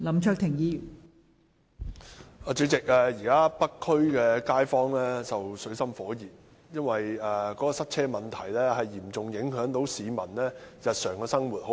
代理主席，現時北區街坊正生活在水深火熱中，因為塞車問題嚴重影響該區市民的日常生活。